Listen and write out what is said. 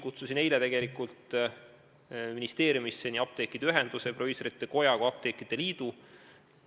Kutsusin eile omal initsiatiivil ministeeriumisse nii apteekide ühenduse, proviisorite koja kui ka apteekrite liidu.